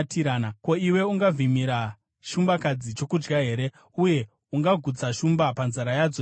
“Ko, iwe ungavhimira shumbakadzi chokudya here, uye ungagutsa shumba panzara yadzo here,